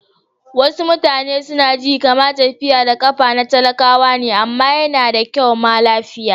Wasu mutane su na ji kaman tafiya da kafa na talakawa ne amma ya na da kyau ma lafiya.